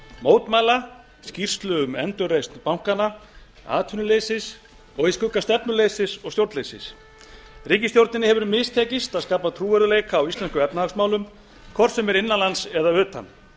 mótmæla skýrslu um endurreisn bankanna atvinnuleysis og í skugga stefnuleysis og stjórnleysis ríkisstjórninni hefur mistekist að skapa trúverðugleika á íslenskum efnahagsmálum hvort sem er innan lands eða utan